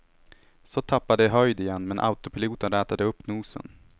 Så tappade det höjd igen, men autopiloten rätade upp nosen.